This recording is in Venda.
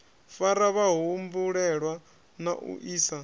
fara vhahumbulelwa na u isa